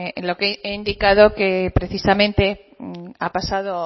he indicado que precisamente ha pasado